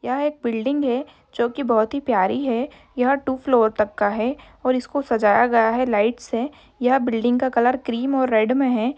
यह एक बिल्डिंग है जो कि बोहोत ही प्यारी है। यह टू फ्लोर तक का है और इसको सजाया गया है लाइट्स से। यह बिल्डिंग का कलर क्रीम और रेड में है।